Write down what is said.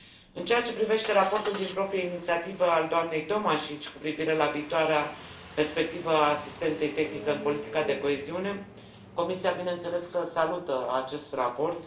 În ceea ce privește raportul din proprie inițiativă al doamnei Tomašić cu privire la viitoarea perspectivă a asistenței tehnice în politica de coeziune, Comisia bineînțeles că salută acest raport.